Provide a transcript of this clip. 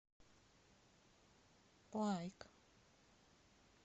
лайк